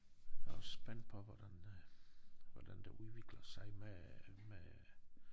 Jeg er også spændt på hvordan øh hvordan det udvikler sig med med